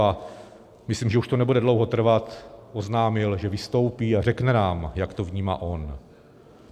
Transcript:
A myslím, že už to nebude dlouho trvat, oznámil, že vystoupí a řekne nám, jak to vnímá on.